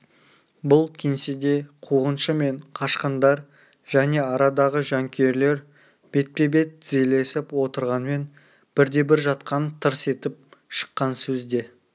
бұл кеңседе қуғыншы мен қашқындар және арадағы жанкүйерлер бетпе-бет тізелесіп отырғанмен бірде-бір жақтан тырс етіп шыққан сөз де